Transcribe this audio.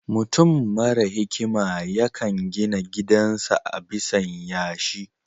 Mutum mara hikima yakan gina gidan sa a bisan yashi